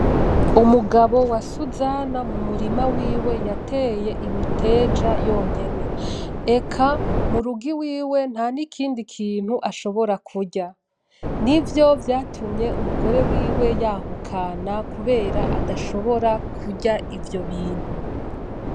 umugabo wa Suzana mumurima wiwe yateye imiteja yonyene . Eka murugo iwiwe ntakindi kintu ashobora kurya, nivyo vyatumye umugore wiwe yahukana kubera adashobora kurya ivyo bintu.